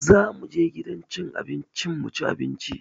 Za mu je gidan cin abinci mu ci abinci